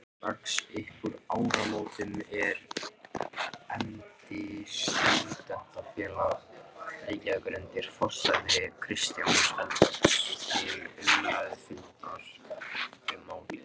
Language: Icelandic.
Strax uppúr áramótum efndi Stúdentafélag Reykjavíkur undir forsæti Kristjáns Eldjárns til umræðufundar um málið.